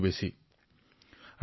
সহজভাৱে আৰু শান্তিৰে স্বীকাৰ কৰিলে